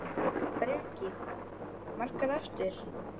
Breki: Margar eftir?